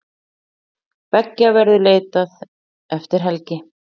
Beggja verður leitað eftir helgi.